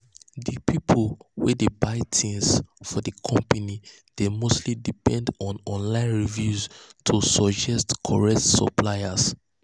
di pipu wey dey buy things um for di company dey um mostly depend on um online reviews to suggest correct suppliers.